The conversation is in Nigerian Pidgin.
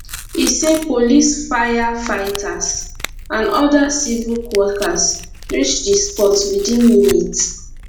e say police firefighters and oda civic workers reach di spot within minutes